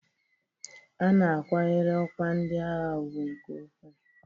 A na-akwanyere ọkwa ndị agha ugwu nke ukwuu.